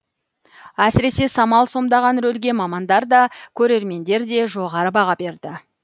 әсіресе самал сомдаған рөлге мамандар да көрермендер де жоғары баға берді